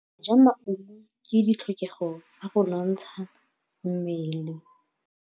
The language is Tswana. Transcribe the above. Go ja maungo ke ditlhokegô tsa go nontsha mmele.